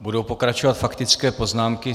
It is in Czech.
Budou pokračovat faktické poznámky.